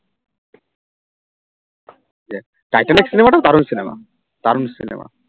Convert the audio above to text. Titanic cinema টাও দারুন cinema দারুন cinema